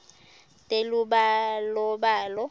telubalobalo